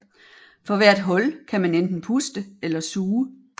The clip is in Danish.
For hvert hul kan man enten puste eller suge